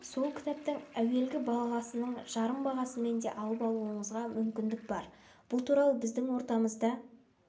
сол кітаптың әуелгі бағасының жарым бағасымен де алып алуыңызға мүмкіндік бар бұл туралы біздің ортамызда